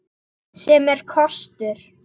Sem er kostur!